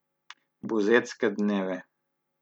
Buzetske dneve.